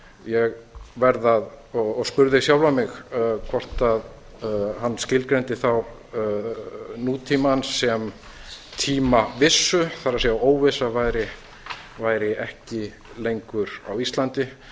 ég spurði sjálfan mig hvort hann skilgreindi þá nútímann sem tímavissu það er óvissa væri ekki lengur á íslandi